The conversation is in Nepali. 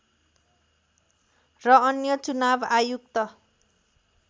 र अन्य चुनाव आयुक्त